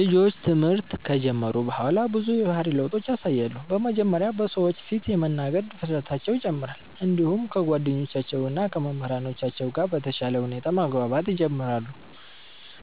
ልጆች ትምህርት ከጀመሩ በኋላ ብዙ የባህሪ ለውጦችን ያሳያሉ። በመጀመሪያ በሰዎች ፊት የመናገር ድፍረታቸው ይጨምራል፣ እንዲሁም ከጓደኞቻቸው እና ከመምህራኖቻቸው ጋር በተሻለ ሁኔታ መግባባት ይጀምራሉ።